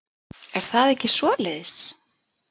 Er það ekki svoleiðis?